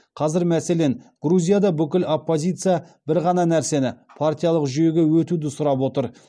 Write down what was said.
қазір мәселен грузияда бүкіл оппозиция бір ғана нәрсені партиялық жүйеге өтуді сұрап отыр